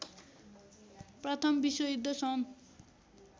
प्रथम विश्वयुद्ध सन्